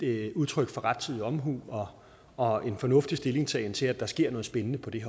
er udtryk for rettidig omhu og en fornuftig stillingtagen til at der sker noget spændende på det